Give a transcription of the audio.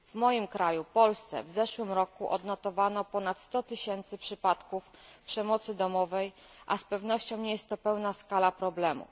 W moim kraju, w Polsce, w zeszłym roku odnotowano ponad 100 tysięcy przypadków przemocy domowej, a z pewnością nie jest to pełna skala problemu.